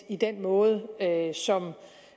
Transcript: i den måde